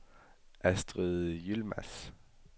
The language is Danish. Astrid Yilmaz